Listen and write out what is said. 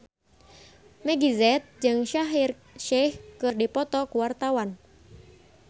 Meggie Z jeung Shaheer Sheikh keur dipoto ku wartawan